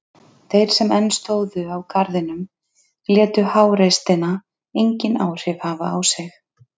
Þeir sem enn stóðu á garðinum létu háreystina engin áhrif hafa á sig.